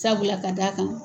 Sabula ka d'a kan